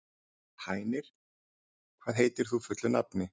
Hænir, hvað heitir þú fullu nafni?